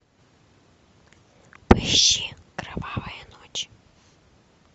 поищи кровавая ночь